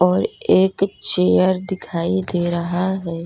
और एक चेयर दिखाई दे रहा है।